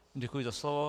Děkuji za slovo.